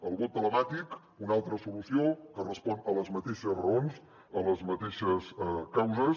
el vot telemàtic una altra solució que respon a les mateixes raons a les mateixes causes